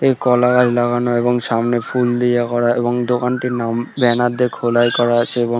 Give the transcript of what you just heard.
এই কলা গাছ লাগানো এবং সামনে ফুল দিয়ে করা এবং দোকানটির নাম ব্যানার দিয়ে খোদাই করা আছে এবং--